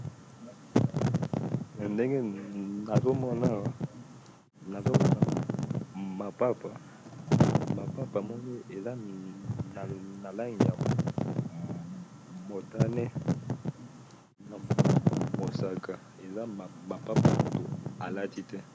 na ndenge nazomona awa nazomana mapapa mapapa moko meza na lange motane na mosaka eza mapapa motu alati te